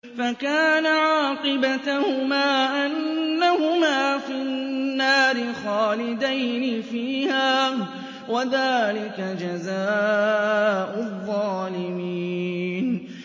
فَكَانَ عَاقِبَتَهُمَا أَنَّهُمَا فِي النَّارِ خَالِدَيْنِ فِيهَا ۚ وَذَٰلِكَ جَزَاءُ الظَّالِمِينَ